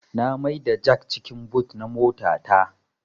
Na mai da jak cikin but na mota ta